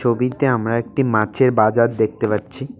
ছবিতে আমরা একটি মাছের বাজার দেখতে পাচ্ছি।